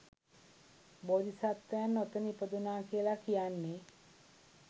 බෝධිසත්වයන් ඔතන ඉපදුනා කියලා කියන්නෙ